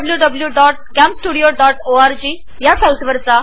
CamStudio.org या वेबसाइटवरुन विनामुल्य डाउनलोड करता येते